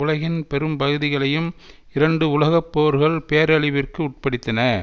உலகின் பெரும் பகுதிகளையும் இரண்டு உலக போர்கள் பேரழிவிற்கு உட்படுத்தின